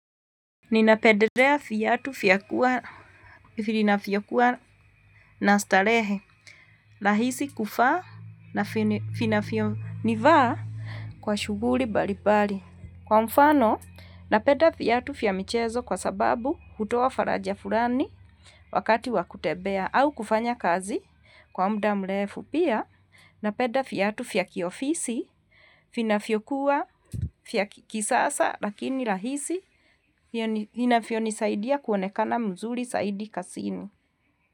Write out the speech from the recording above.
Ninapendelea viatu vinakua na starehe, rahisi kuvaa na vinavyonifaa kwa shuguli balibali. Kwa mfano, napenda viatu vya michezo kwa sababu hutoa faraja fulani wakati wakutembea au kufanya kazi kwa mda mrefu. Pia napenda viatu vya kiofisi, vinavyokuwa vya kisasa lakini rahisi, hinavyonisaidia kuonekana mzuri saidi kasini.